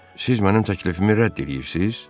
Siz mənim təklifimi rədd eləyirsiz?